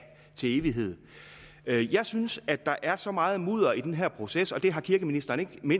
til evighed jeg synes at der er så meget mudder i den her proces og det har kirkeministeren